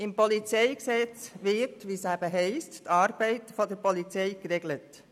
Im PolG wird, wie es eben heisst, die Arbeit der Polizei geregelt.